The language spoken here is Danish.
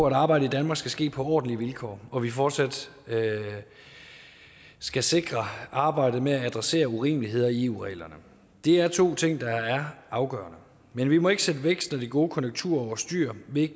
at arbejde i danmark skal ske på ordentlige vilkår og at vi fortsat skal sikre arbejdet med at adressere urimeligheder i eu reglerne det er to ting der er afgørende men vi må ikke sætte væksten og de gode konjunkturer over styr ved